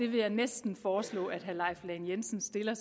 vil næsten foreslå at herre leif lahn jensen stiller